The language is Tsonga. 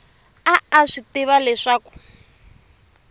a a swi tiva leswaku